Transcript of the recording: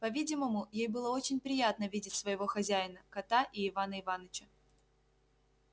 по-видимому ей было очень приятно видеть своего хозяина кота и ивана иваныча